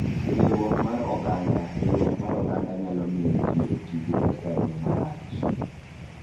Riwruok mar Oganda: Riwruok mar oganda nyalo miyo ji oti gi pesa e yo marach.